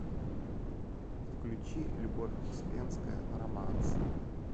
включи любовь успенская романс